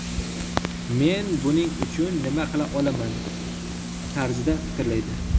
Men buning uchun nima qila olaman?” tarzida fikrlaydi.